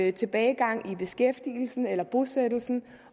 i tilbagegang med beskæftigelsen eller bosættelsen